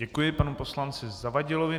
Děkuji panu poslanci Zavadilovi.